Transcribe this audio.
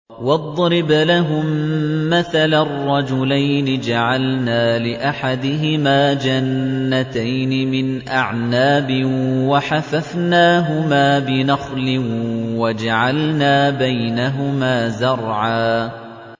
۞ وَاضْرِبْ لَهُم مَّثَلًا رَّجُلَيْنِ جَعَلْنَا لِأَحَدِهِمَا جَنَّتَيْنِ مِنْ أَعْنَابٍ وَحَفَفْنَاهُمَا بِنَخْلٍ وَجَعَلْنَا بَيْنَهُمَا زَرْعًا